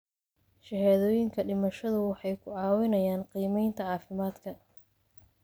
Shahaadooyinka dhimashadu waxay ku caawinayaan qiimaynta caafimaadka.